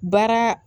Baara